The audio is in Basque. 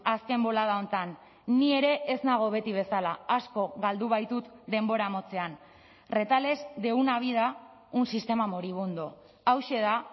azken bolada honetan ni ere ez nago beti bezala asko galdu baitut denbora motzean retales de una vida un sistema moribundo hauxe da